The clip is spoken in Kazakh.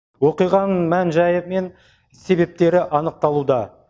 оқиғаның мән жайы мен себептері анықталуда